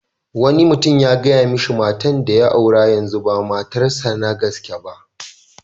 Wani mutum ya gaya mishi matan da ya aure yanzu ba matar sa na gaske ba.